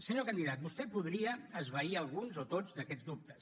senyor candidat vostè podria esvair alguns o tots d’aquests dubtes